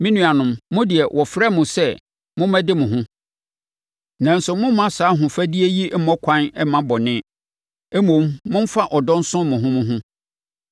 Me nuanom, mo deɛ, wɔfrɛɛ mo sɛ mommɛde mo ho. Nanso, mommma saa ahofadie yi mmɔ ɛkwan mma bɔne; mmom, momfa ɔdɔ nsom mo ho mo ho.